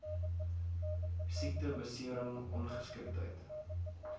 siekte besering ongeskiktheid